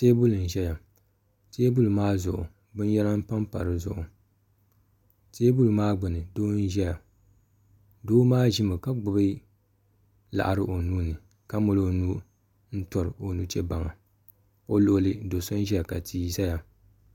teebuli n-ʒeya teebuli maa zuɣu binyɛra m-pa pa di zuɣu teebuli maa gbunni doo n-ʒeya doo maa ʒimi ka gbubi laɣiri o nuu ni ka mali o nuu n-tɔri o nuchee baŋa o luɣili do'so n-ʒeya ka tia zaya.